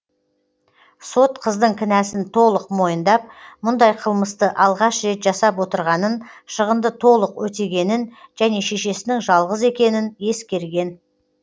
сот қыздың кінәсін толық мойындап мұндай қылмысты алғаш рет жасап отырғанын шығынды толық өтегенін және шешесінің жалғыз екенін ескерген